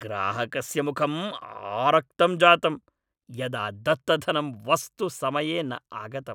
ग्राहकस्य मुखम् आरक्तं जातम् यदा दत्तधनं वस्तु समये न आगतम्।